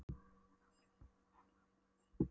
En hann Grjóni getur nú vanalega svarað fyrir sitt, sagði